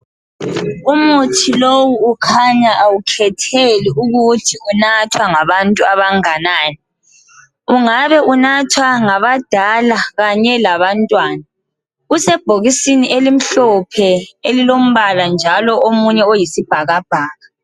Umuthi lowu ukhanya awukhetheli ukuthi unathwa ngabantu abanganani. Ungabe unathwa ngabadala kanye labantwana. Usebhokisini elimhlophe elilombala njalo omunye oyisibhakabhaka.